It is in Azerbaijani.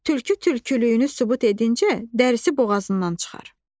Tülkü tülkülüyünü sübut edincə, dərisi boğazından çıxar.